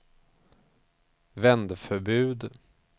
vändförbud